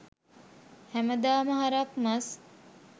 හැමදාම හරක් මස්